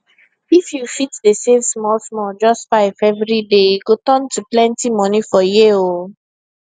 if you fit dey save smallsmall just 5 every day e go turn to plenty money for year oh